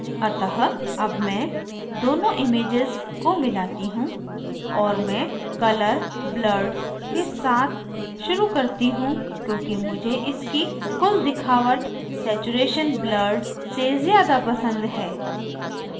अतः अब मैं दोनों images को मिलाती हूँ और मैं colour blurred के साथ शुरू करती हूँ क्योंकि मुझे इसकी कुल दिखावट saturation blurred से ज़्यादा पसंद है